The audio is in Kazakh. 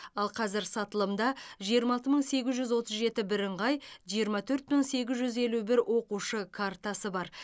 ал қазір сатылымда жиырма алты мың сегіз жүз отыз жеті бірыңғай жиырма төрт мың сегіз жүз елу бір оқушы картасы бар